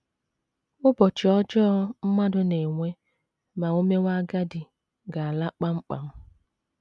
‘ Ụbọchị ọjọọ ’ mmadụ na - enwe ma o mewe agadi ga - ala kpamkpam.